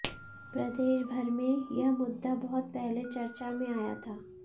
प्रदेश भर में यह मुद्दा बहुत पहले चर्चा में आया था